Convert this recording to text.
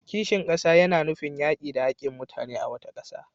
Kishin kasa yana nufin yaki da hakkin mutane a wata kasa.